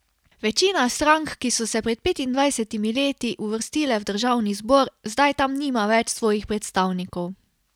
Večina strank, ki so se pred petindvajsetimi leti uvrstile v državni zbor, zdaj tam nima več svojih predstavnikov.